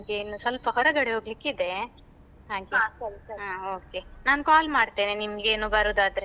ನನ್ಗೆ ಸ್ವಲ್ಪ ಹೊರಗಡೆ ಹೋಗ್ಲಿಕ್ಕೆ ಇದೆ ಹಾಗೆ, ಹ okay ನಾನ್ call ಮಾಡ್ತೇನೆ ನಿನ್ಗೆ ಏನು ಬರುದಾದ್ರೆ.